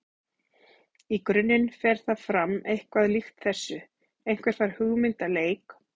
Í grunninn fer það fram eitthvað líkt þessu: Einhver fær hugmynd að leik.